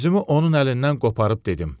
Özümü onun əlindən qoparıb dedim.